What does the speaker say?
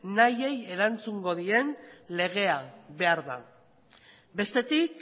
nahiei erantzungo dien legea behar da bestetik